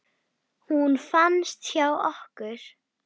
Hún fannst hjá okkur.